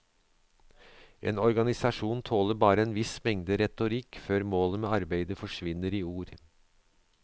En organisasjon tåler bare en viss mengde retorikk før målet med arbeidet forsvinner i ord.